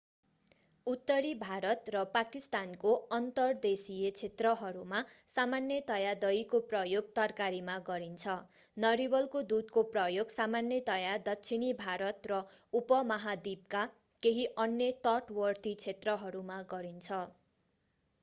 उत्तरी भारत र पाकिस्तानको अन्तर्देशीय क्षेत्रहरूमा सामान्यतया दहीको प्रयोग तरकारीमा गरिन्छ नरिवलको दूधको प्रयोग सामान्यतया दक्षिणी भारत र उपमहाद्वीपका केही अन्य तटवर्ती क्षेत्रहरूमा गरिन्छ